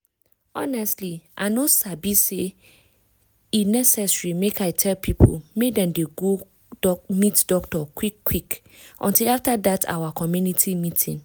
honestly i no sabi say e necessary make i tell people make dem go meet doctor quick quick until after dat our community meeting.